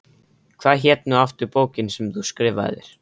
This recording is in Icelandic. Hvað hét nú aftur bókin sem þú skrifaðir?